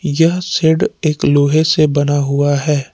यह शेड एक लोहे से बना हुआ है।